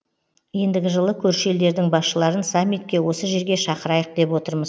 ендігі жылы көрші елдердің басшыларын саммитке осы жерге шақырайық деп отырмыз